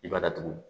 I b'a datugu